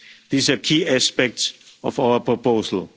These are key aspects of our proposal.